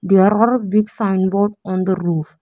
There are big sign board on the roof.